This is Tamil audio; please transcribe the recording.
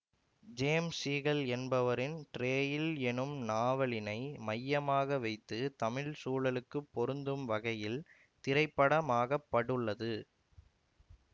ஜேம்ஸ் சீகல் என்பவரின் டிரேயில் எனும் நாவலினை மையமாக வைத்து தமிழ் சூழலுக்கு பொருந்தும்வகையில் திரைப்படமாகப்படுள்ளது